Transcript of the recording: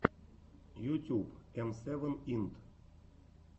ютюб эм сэвен инд